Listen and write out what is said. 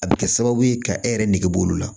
A bɛ kɛ sababu ye ka e yɛrɛ negeburu la